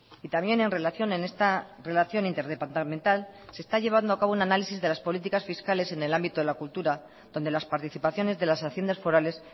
y también en relación en esta relación interdepartamental se está llevando acabo un análisis de las políticas fiscales en el ámbito de la cultura donde las participaciones de las haciendas forales